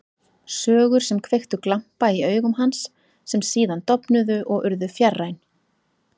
Sögur sem kveiktu glampa í augum hans, sem síðan dofnuðu og urðu fjarræn.